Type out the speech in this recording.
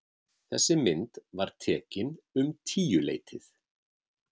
Þessi mynd var tekin um tíuleytið.